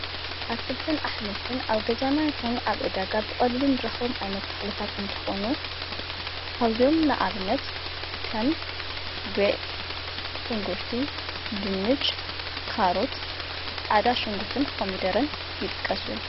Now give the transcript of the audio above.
ኣትክልትን ኣኅምልትን ኣብ ገዛና ይሆኑ ኣብ እዳጋ ብቐሊሉም ድረኸም ኣይነት ተኽልታት እንተኾኑ ካውዝዮም ንኣብነት ከም ጐዕ ፣ሽንጕርቲ፣ ድንጭ፣ ካሩት፣ ፃዕዳ ሹንጕርትን ኾሚደርን ይጥቀሱ እዮም።